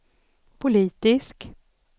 politisk